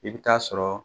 I bɛ taa sɔrɔ